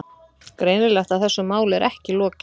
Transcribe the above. Greinilegt að þessu máli er ekki lokið.